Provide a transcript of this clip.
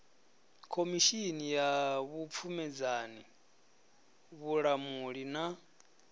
khomishini ya vhupfumedzani vhulamuli na